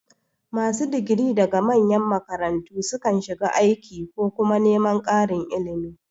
Masu digiri daga manyan makarantu sukan shiga aiki ko kuma neman ƙarin ilimi.